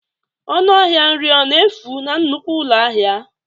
Ọnụ ahịa nri ọ na-efu na nnukwu ụlọ ahịa?